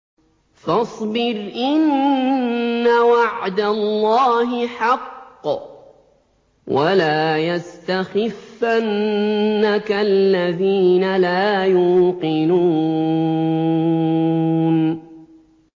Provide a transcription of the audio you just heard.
فَاصْبِرْ إِنَّ وَعْدَ اللَّهِ حَقٌّ ۖ وَلَا يَسْتَخِفَّنَّكَ الَّذِينَ لَا يُوقِنُونَ